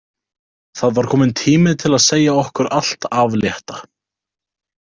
Það var kominn tími til að segja okkur allt af létta.